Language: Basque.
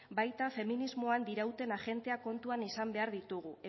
baita feminismoan dirauten agentea kontuan izan behar ditugu